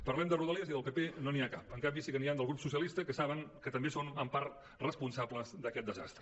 parlem de rodalies i del pp no n’hi ha cap en canvi sí que n’hi han del grup socialistes que saben que també són en part responsables d’aquest desastre